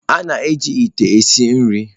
A na-eji ite esi nri.